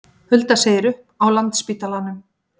Hulda segir upp á Landspítalanum